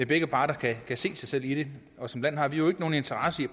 begge parter kan se sig selv i det og som land har vi jo ikke nogen interesse i